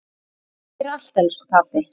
Takk fyrir allt elsku pabbi.